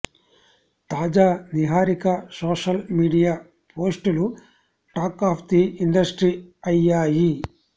తాజా Niharika social media పోస్టులు talk of the industry అయ్యాయి